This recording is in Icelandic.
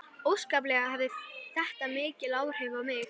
Óskaplega hafði þetta mikil áhrif á mig.